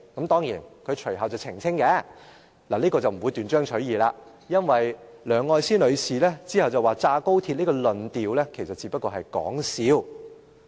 當然，她隨後亦有澄清——這點沒有斷章取義——因為梁愛詩女士後來說"炸掉高鐵"這個論調，其實只是說笑。